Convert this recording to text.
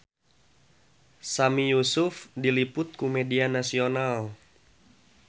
Sami Yusuf diliput ku media nasional